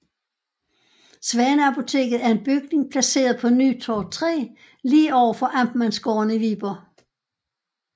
Svaneapoteket er en bygning placeret på Nytorv 3 lige overfor Amtmandsgården i Viborg